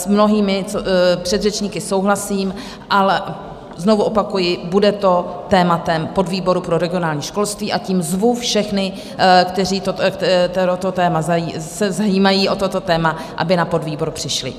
S mnohými předřečníky souhlasím, ale znovu opakuji, bude to tématem podvýboru pro regionální školství, a tím zvu všechny, kteří se zajímají o toto téma, aby na podvýbor přišli.